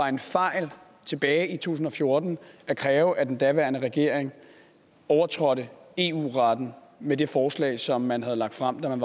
en fejl tilbage i to tusind og fjorten at kræve at den daværende regering overtrådte eu retten med det forslag som man havde fremsat